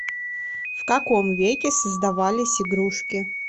в каком веке создавались игрушки